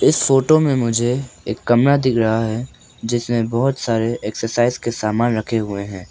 इस फोटो में मुझे एक कमरा दिख रहा है जिसमें बहुत सारे एक्सरसाइज के समान रखे हुए हैं।